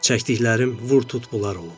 Çəkdiklərim vur tut bunlar olub.